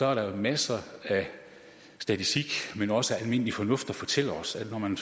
er der jo masser af statistik men også almindelig fornuft der fortæller os at når man